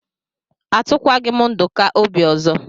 Atụkwaghi m Nduka obi ọzọ.